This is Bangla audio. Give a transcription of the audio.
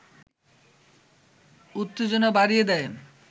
উত্তেজনা বাড়িয়ে দেয়